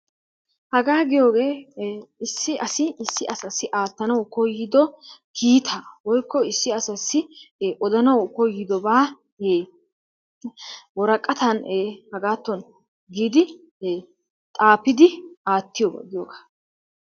Hagaa giyooge issi asi issi asassi aattanawu koyiddo kiitaa, woykko issi asassi odanawu koyddobaa woraqqattan hagaatto giidi xaafidi aattiyoba giyogaa.